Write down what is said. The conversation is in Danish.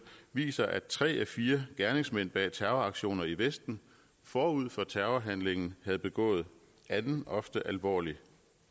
viser at tre af fire gerningsmænd bag terroraktioner i vesten forud for terrorhandlingen havde begået anden ofte alvorlig